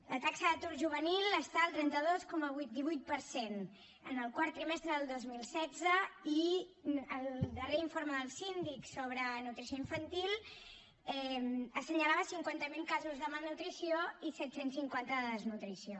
la taxa d’atur juvenil està al trenta dos coma divuit per cent en el quart trimestre del dos mil setze i el darrer informe del síndic sobre nutrició infantil assenyalava cinquanta miler casos de malnutrició i set cents i cinquanta de desnutrició